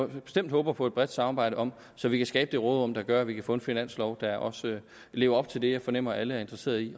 vi bestemt håber på et bredt samarbejde om så vi kan skabe det råderum der gør at vi kan få en finanslov der også lever op til det jeg fornemmer alle er interesseret i